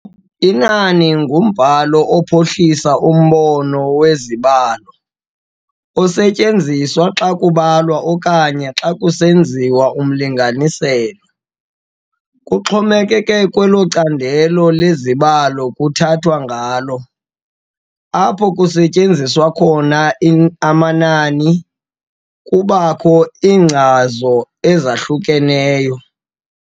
Inani ngumbhalo ophuhlisa umbono wezibalo, osetyenziswa xa kubalwa okanye xa kusenziwa umlinganiselo. kuxhomekeke kwelo candelo lezibalo kuthethwa ngalo, apho kusetyenziswa khona amanani, kubakho iinkcazo ezahlukeneyo.